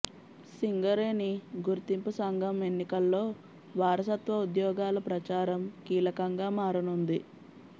సింగరేణి గుర్తింపు సంఘం ఎన్నికల్లో వారసత్వ ఉద్యోగాల ప్రచారం కీలకంగా మారనుంది